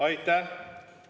Aitäh!